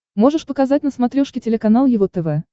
можешь показать на смотрешке телеканал его тв